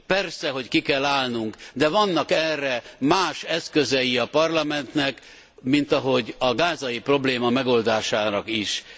Persze, hogy ki kell állnunk, de vannak erre más eszközei a Parlamentnek, mint ahogy a gázai probléma megoldásának is.